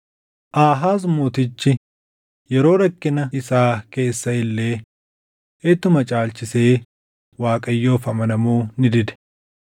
Aahaaz Mootichi yeroo rakkina isaa keessa illee ittuma caalchisee Waaqayyoof amanamuu ni dide.